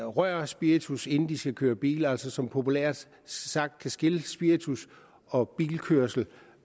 rører spiritus inden de skal køre bil og som altså populært sagt kan skille spiritus og bilkørsel